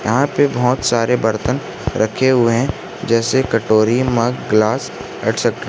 यहां पे बहुत सारे बर्तन रखे हुए हैं जैसे कटोरी मग ग्लास एक्स्ट्रा ।